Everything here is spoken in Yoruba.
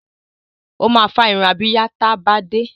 Ó máa fá irun abíyá ta bá dé.